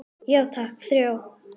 Já takk, þrjá.